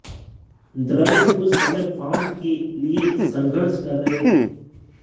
द्रविड़ उस समय फार्म के लिए संघर्ष कर रहे थे